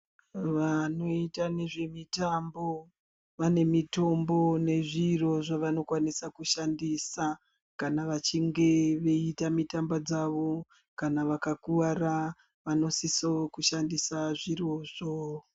Vanoita nezve mitambo vane mitombo nezviro zvavano kwanise kushandisa kana vachinje veita mitambo dzavo kana vaka kwara vano sise kushandisa zviro zvo.